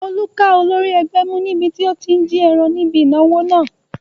Olú ká olórí ẹgbẹ́ mú níbi tí ó tí n jí ẹran níbi ìnáwó náà